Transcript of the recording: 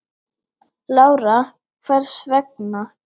Lára: Hvers vegna?